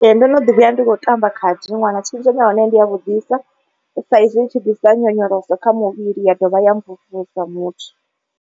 Ee ndo no ḓi vhuya ndi kho tamba khadi ndi ṅwana. Tshenzhemo ya hone ndi ya vhudisa sa izwi i tshi ḓisa nyonyoloso kha muvhili ya dovha ya mvumvusa muthu.